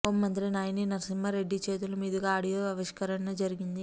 home మంత్రి నాయిని నరసింహా రెడ్డి చేతుల మీదుగా ఆడియో ఆవిష్కరణ జరిగింది